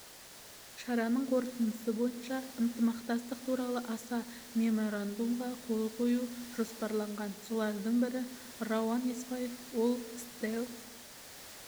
шараның қорытындысы бойынша ынтымақтастық туралы аса меморандумға қол қою жоспарланған солардың бірі рауан еспаев ол стелл